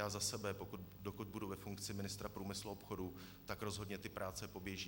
Já za sebe, dokud budu ve funkci ministra průmyslu a obchodu, tak rozhodně ty práce poběží.